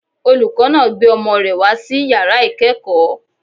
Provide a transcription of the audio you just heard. Olùkọ́ náà gbé ọmọ rẹ̀ wá sí yàrá ìkẹ́kọ̀ọ́